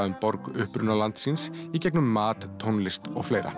um borg upprunalands síns í gegnum mat tónlist og fleira